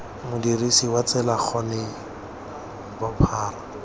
modirisi wa tsela gore bophara